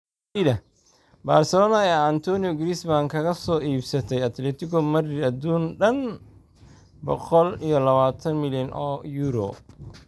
Barcelona ayaa Antoine Griezmann kaga soo iibsatay Atletico Madrid aduun dhan boqol iyo labatan milyan oo euro